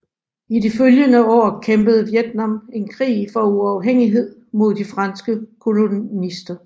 I de følgende år kæmpede Vietnam en krig for uafhængighed mod de franske kolonister